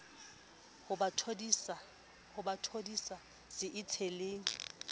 ho ba thodisa se itsheleng